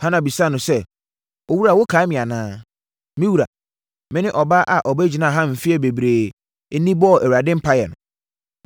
Hana bisaa no sɛ, “Owura wokae me anaa? Me wura, me ne ɔbaa a ɔbɛgyinaa ha mfeɛ bebree ni bɔɔ Awurade mpaeɛ no.